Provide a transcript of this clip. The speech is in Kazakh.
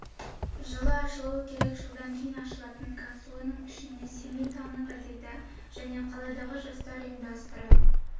жылы ашылуы керек жылдан кейін ашылатын капсуланың ішіне семей таңы газеті және қаладағы жастар ұйымдары